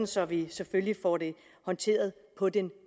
så vi selvfølgelig får det håndteret på den